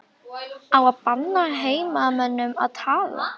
Á að banna heimamönnum að tala?